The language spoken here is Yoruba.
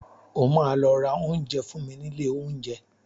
O máa lọ ra oúnjẹ fún mi nílé oúnjẹ.